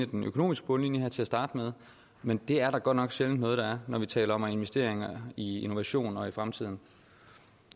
den økonomiske bundlinje her til at starte med men det er der godt nok sjældent noget der er når vi taler om investeringer i innovation og i fremtiden